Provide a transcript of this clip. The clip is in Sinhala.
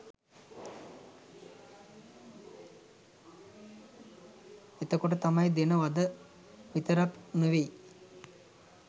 එතකොට තම්යි දෙන වද විතරක් නෙමෙයි